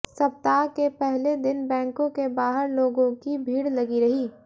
सप्ताह के पहले दिन बैकों के बाहर लोगों की भीड़ लगी रही